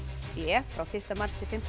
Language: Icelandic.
b frá fyrsta mars til fimmta